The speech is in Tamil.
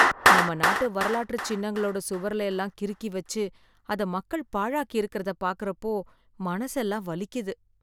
நம்ம நாட்டு வரலாற்று சின்னங்களோட சுவர்ல எல்லாம் கிறுக்கி வச்சு, அதை மக்கள் பாழாக்கி இருக்குறத பார்க்கறப்போ மனசெல்லாம் வலிக்குது.